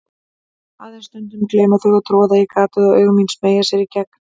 Aðeins stundum gleyma þau að troða í gatið og augu mín smeygja sér í gegn.